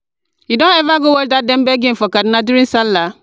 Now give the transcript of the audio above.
you don ever go watch dat Dembe game for kaduna during Sallah?